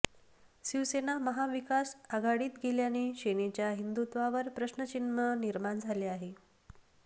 शिवसेना महाविकास आघाडीत गेल्याने सेनेच्या हिंदुत्वावर प्रश्नचिन्ह निर्माण झालं आहे